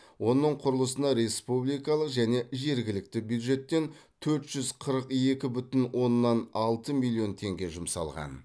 оның құрылысына республикалық және жергілікті бюджеттен төрт жүз қырық екі бүтін оннан алты миллион теңге жұмсалған